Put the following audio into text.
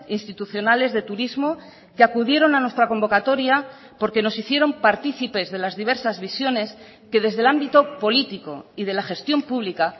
institucionales de turismo que acudieron a nuestra convocatoria porque nos hicieron partícipes de las diversas visiones que desde el ámbito político y de la gestión pública